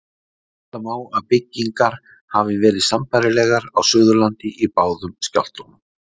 Ætla má að byggingar hafi verið sambærilegar á Suðurlandi í báðum skjálftunum.